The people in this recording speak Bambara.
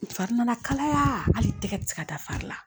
N fari nana kala kalaya hali tɛgɛ tɛ se ka da fari la